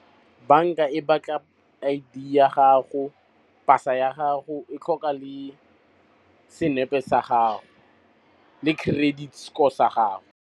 Banka e batla pasa ya gago, e tlhoka le senepe sa gago, le credit score sa gago.